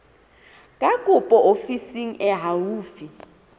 ya kopo ofising e haufi